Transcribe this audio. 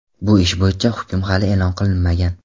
Bu ish bo‘yicha hukm hali e’lon qilinmagan.